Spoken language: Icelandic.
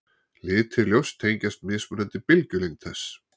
litir ljóss tengjast mismunandi bylgjulengd þess